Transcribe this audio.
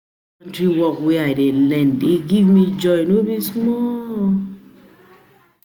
work wey I dey learn dey give me joy no be small